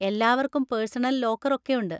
എല്ലാവർക്കും personal locker ഒക്കെയുണ്ട്.